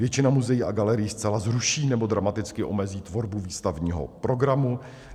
Většina muzeí a galerií zcela zruší nebo dramaticky omezí tvorbu výstavního programu.